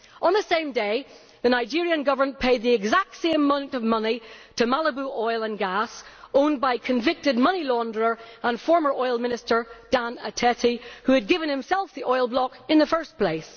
On the same day, the Nigerian Government paid the exact same amount of money to Malibu Oil and Gas, owned by convicted money launderer and former oil minister, Dan Etete, who had given himself the oil block in the first place.